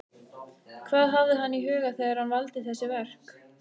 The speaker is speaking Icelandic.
Hvað hafði hann í huga þegar hann valdi þessi verk?